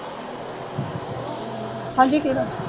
ਹਾਂਜੀ ਕਿਹੜਾ